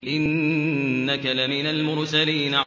إِنَّكَ لَمِنَ الْمُرْسَلِينَ